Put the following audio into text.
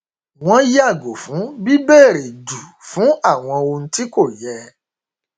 wọn yàgò fún bíbèrè jù fún àwọn ohun tí kò yẹ